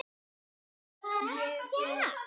Nei, það er ekki það.